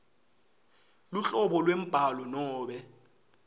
luhlobo lwembhalo nobe